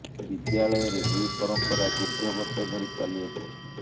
ବିଦ୍ୟାଳୟରେ ଏହି ପରମ୍ପରା ଦୀର୍ଘ ବର୍ଷ ଧରି ଚାଲି ଆସୁଛି